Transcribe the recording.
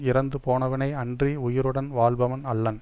இறந்து போனவனே அன்றி உயிருடன் வாழ்பவன் அல்லன்